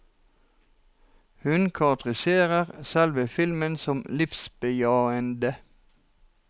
Hun karakteriserer selv filmen som livsbejaende.